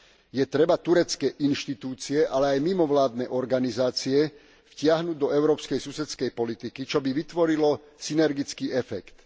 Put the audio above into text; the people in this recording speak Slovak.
Je potrebné turecké inštitúcie, ale aj mimovládne organizácie vtiahnuť do Európskej susedskej politiky, čo by vytvorilo synergický efekt.